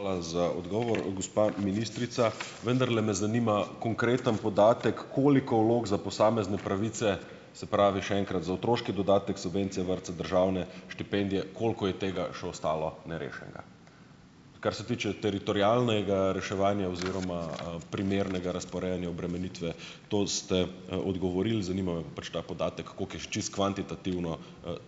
Hvala za odgovor, gospa ministrica. Vendarle me zanima konkreten podatek, koliko vlog za posamezne pravice, se pravi, še enkrat, za otroški dodatek, subvencije, vrtce, državne štipendije, koliko je tega še ostalo nerešenega? Kar se tiče teritorialnega reševanja oziroma, primernega razporejanja obremenitve, to ste, odgovorili, zanima me pa pač ta podatek, koliko je še čisto kvantitativno,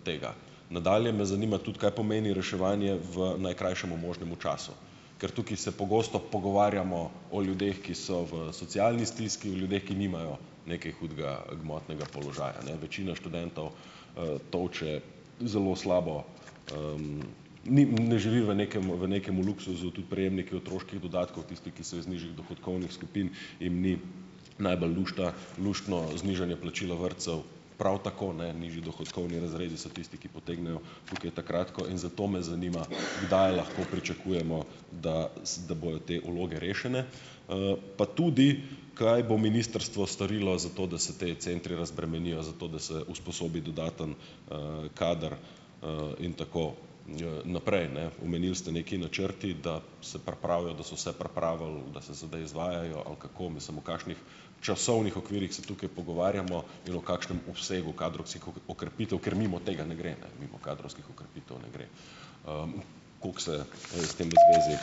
tega? Nadalje me zanima tudi, kaj pomeni reševanje v najkrajšem možnem času? Ker tukaj se pogosto pogovarjamo o ljudeh, ki so v socialni stiski, o ljudeh, ki nimajo nekaj hudega, gmotnega položaja, ne. Večina študentov, tolče zelo slabo, ni ne živi v nekem v nekem luksuzu, tudi prejemniki otroških dodatkov, tisti, ki so iz nižjih dohodkovnih skupin, jim ni najbolj lušta luštno znižanje plačilo vrtcev, prav tako ne nižji dohodkovni razredu so tisti, ki potegnejo tukaj ta kratko, in zato me zanima kdaj lahko pričakujemo, da, da bojo te vloge rešene, pa tudi, kaj bo ministrstvo storilo za to, da se ti centri razbremenijo, zato da se usposobi dodaten, kader, in tako, naprej, ne. Omenili ste, neki načrti, da se pripravijo, da so se pripravili, da se sedaj izvajajo, ali kako? Mislim, v kakšnih časovnih okvirih se tukaj pogovarjamo in o kakšnem obsegu kadrovskih okrepitev, ker mimo tega ne gre, ne, mimo kadrovskih okrepitev ne gre. Kako se, s tem v zvezi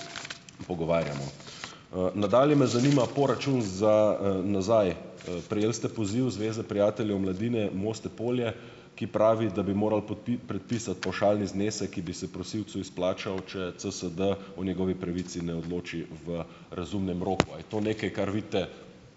pogovarjamo? Nadalje me zanima poračun za, nazaj. Prejeli ste poziv Zveze prijateljev mladine Moste-Polje, ki pravi, da bi morali predpisati pavšalni znesek, ki bi se prosilcu izplačal, če CSD o njegovi pravici ne odloči v razumnem roku. A je to nekaj, kar vidite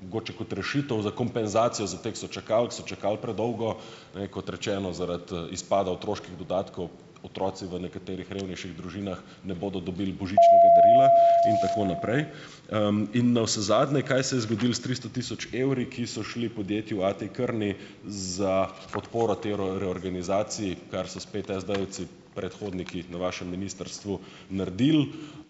mogoče kot rešitev za kompenzacijo za te, ki so čakali, ki so čakali predolgo, ne, kot rečeno, zaradi, izpada otroških dodatkov otroci v nekaterih revnejših družinah ne bodo dobili božičnega darila in tako naprej. In navsezadnje, kaj se je zgodilo s tristo tisoč evri, ki so šli podjetju A T Kearney, za podporo tej reorganizaciji, kar so spet SD-jevci, predhodniki na vašem ministrstvu naredili ...